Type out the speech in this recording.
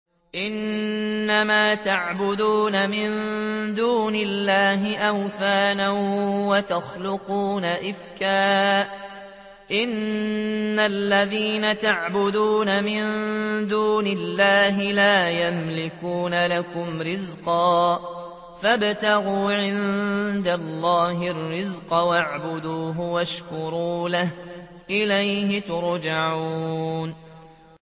إِنَّمَا تَعْبُدُونَ مِن دُونِ اللَّهِ أَوْثَانًا وَتَخْلُقُونَ إِفْكًا ۚ إِنَّ الَّذِينَ تَعْبُدُونَ مِن دُونِ اللَّهِ لَا يَمْلِكُونَ لَكُمْ رِزْقًا فَابْتَغُوا عِندَ اللَّهِ الرِّزْقَ وَاعْبُدُوهُ وَاشْكُرُوا لَهُ ۖ إِلَيْهِ تُرْجَعُونَ